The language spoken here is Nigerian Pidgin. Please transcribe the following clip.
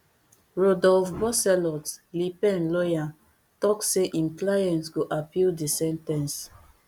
rodolphe bosselut le pen lawyer tok say im client go appeal di sen ten ce